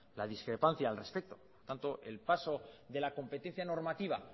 la discrepancia al respecto tanto el paso de la competencia normativa